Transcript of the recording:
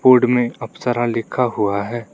Board में अप्सरा लिखा हुआ है।